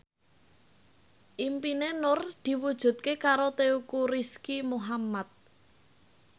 impine Nur diwujudke karo Teuku Rizky Muhammad